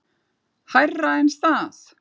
Hærra en það.